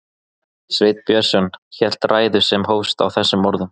Sveinn Björnsson hélt ræðu sem hófst á þessum orðum